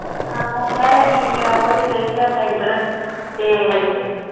ਹਾ ਸਾਰੇ ਠੀਕ ਉਹ ਤੇ ਗਈ ਏ ਸੈਂਟਰ